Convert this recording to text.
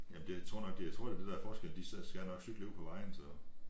Jamen det tror nok det jeg tror det er det der er forskellen de skal nok cykle ude på vejen så